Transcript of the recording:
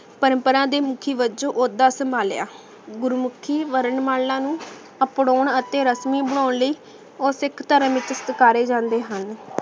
ਪਰਮ੍ਪਰਾ ਦੇ ਮੁਖੀ ਵਾਚੋੰ ਓਹਦਾ ਸੰਭਾਲਿਆ ਗੁਰੂ ਮੁਖੀ ਵਰਣ ਮਾਲਾ ਨੂ ਅਪ੍ਰੋੰ ਅਤੀ ਰਸਮੀ ਬਣਾਂ ਲੈ ਊ ਸਿਖ ਧਰਮ ਵਿਚ ਪੁਕਾਰੇ ਜਾਂਦੇ ਹਨ